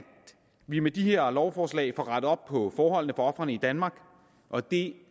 vi med de her lovforslag får rettet op på forholdene for ofrene i danmark og det